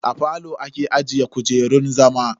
A falo ake ajiye kujerun zama.